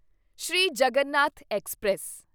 Sri Jagannath express